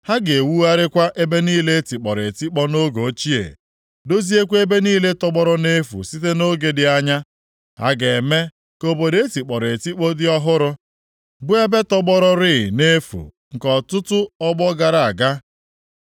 Ha ga-ewugharịkwa ebe niile e tikpọrọ etikpọ nʼoge ochie, doziekwa ebe niile tọgbọrọ nʼefu site nʼoge dị anya; ha ga-eme ka obodo e tikpọrọ etikpọ dị ọhụrụ, bụ ebe tọgbọrọrị nʼefu nke ọtụtụ ọgbọ gara aga.